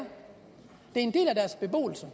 en del af deres beboelse